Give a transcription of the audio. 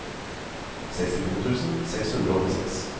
sekstito tusen seks hundre og åttiseks